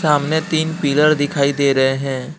सामने तीन पिलर दिखाई दे रहे है।